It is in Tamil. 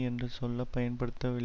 என்ற சொல்ல பயன்படுத்தவில்லை